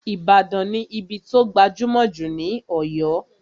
Ìbàdàn ní ibí tó gbajúmọ̀ jù ní Ọ̀yọ́